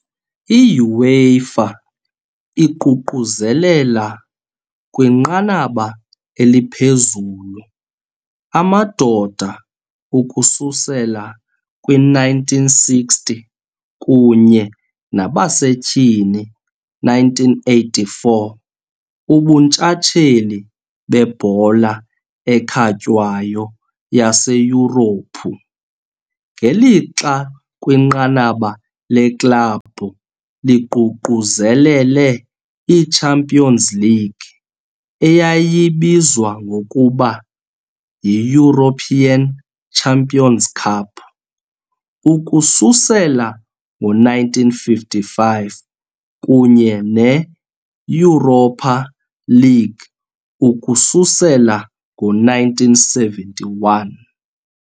I-UEFA iququzelela, kwinqanaba eliphezulu, amadoda, ukususela kwi-1960, kunye nabasetyhini, 1984, ubuntshatsheli bebhola ekhatywayo yaseYurophu, ngelixa kwinqanaba leklabhu liququzelele i- Champions League, eyayibizwa ngokuba yi-European Champions 'Cup, ukususela ngo-1955, kunye ne- Europa League ukususela ngo-1971. .